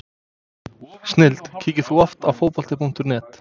snilld Kíkir þú oft á Fótbolti.net?